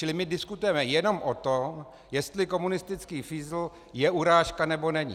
Čili my diskutujeme jenom o tom, jestli komunistický fízl je urážka, nebo není.